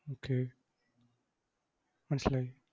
Okay മനസ്സിലായി.